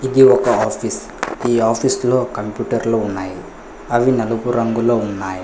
ఇది ఒక ఆఫీస్ ఈ ఆఫీస్ లో కంప్యూటర్లు ఉన్నాయి అవి నలుగు రంగులో ఉన్నాయ్.